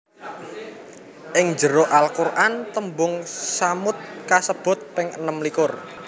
Ing jero Al Qur an tembung tsamud kasebut ping enem likur